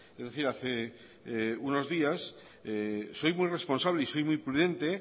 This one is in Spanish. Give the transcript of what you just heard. es decir hace unos días soy muy responsable y soy muy prudente